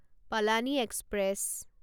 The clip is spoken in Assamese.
পালানি এক্সপ্ৰেছ